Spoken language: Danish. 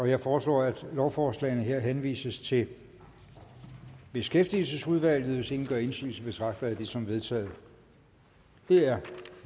jeg foreslår at lovforslagene henvises til beskæftigelsesudvalget hvis ingen gør indsigelse betragter jeg det som vedtaget det er